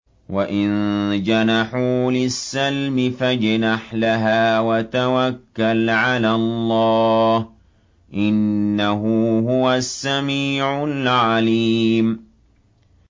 ۞ وَإِن جَنَحُوا لِلسَّلْمِ فَاجْنَحْ لَهَا وَتَوَكَّلْ عَلَى اللَّهِ ۚ إِنَّهُ هُوَ السَّمِيعُ الْعَلِيمُ